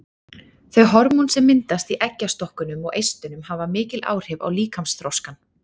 Þau hormón sem myndast í eggjastokkunum og eistunum hafa mikil áhrif á líkamsþroskann.